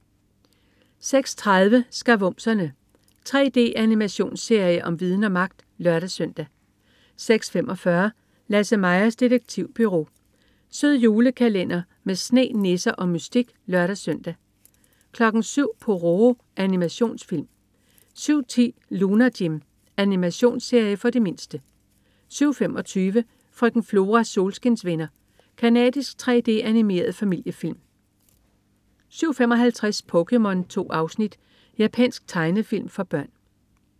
06.30 Skavumserne. 3D-animationsserie om viden og magt! (lør-søn) 06.45 Lasse-Majas detektivbureau. Sød julekalender med sne, nisser og mystik (lør-søn) 07.00 Pororo. Animationsfilm 07.10 Lunar Jim. Animationsserie for de mindste 07.25 Frøken Floras solskinsvenner. Canadisk 3D-animeret familiefilm 07.55 POKéMON. 2 afsnit. Japansk tegnefilm for børn